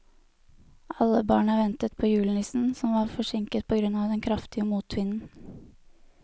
Alle barna ventet på julenissen, som var forsinket på grunn av den kraftige motvinden.